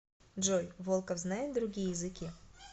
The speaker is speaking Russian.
джой волков знает другие языки